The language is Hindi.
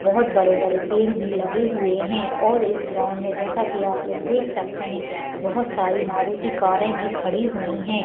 बहुत बड़े-बड़े पेड़ भी लगे हुए है और इस ग्राउंड में जैसा की आपलोग देख सकते है बहुत सारी मारुती कारे भी खड़ी हुई है।